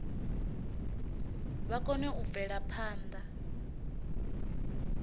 vha kone u bvela phanda